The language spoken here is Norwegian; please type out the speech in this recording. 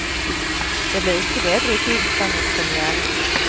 Det blir ikke bedre i tiden frem mot premièren.